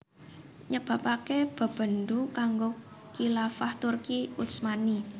nyebabaké bebendu kanggo Khilafah Turki Utsmani